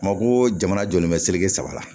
Mako jamana jɔlen bɛ seleke saba la